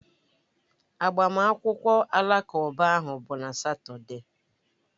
Agbamakwụkwọ Alakụba ahụ bụ na Satọde